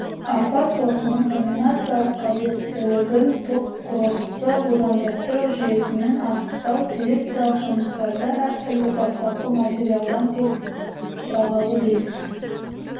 арпа сортының комбинациялық қабілеттілігін топкросты будандастыру жүйесімен анықтау селекциялық жұмыстарда әртүрлі бастапқы материалдан тек бағалы белгілер